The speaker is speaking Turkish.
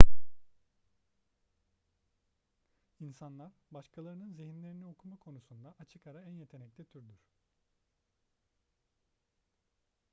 i̇nsanlar başkalarının zihinlerini okuma konusunda açık ara en yetenekli türdür